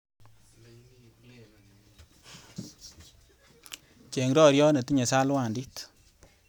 Cheng roriot netinye salwandit.